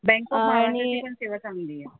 Bank of महाराष्ट्रची पण सेवा चांगली आहे.